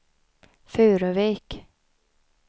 Furuvik